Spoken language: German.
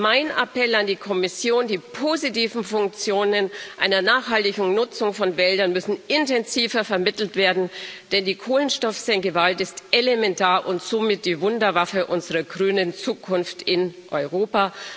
Mein Appell an die Kommission Die positiven Funktionen einer nachhaltigen Nutzung von Wäldern müssen intensiver vermittelt werden, denn die Kohlenstoffsenke Wald ist elementar und somit die Wunderwaffe unserer grünen Zukunft in Europa.